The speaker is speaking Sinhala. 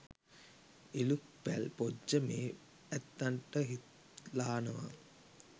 ඉලූක් පැල් පොජ්ජ මේ ඇත්තන්ට හිත්ලානවා.